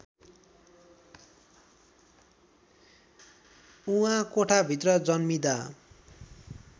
उहाँ कोठाभित्र जन्मिँदा